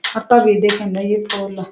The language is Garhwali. अ तवी दिखेंदी य फूल।